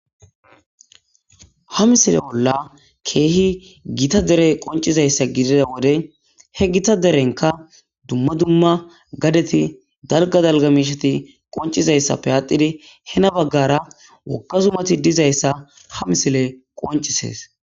Ha misile bolla keehi gita dere qoncizayssa gidida wode he gita derenka dumma dumma gadeti dalga dalga mishati qoncizayssappe aatidi hena baggara woka zumati dizayssa ha misile qoncisees.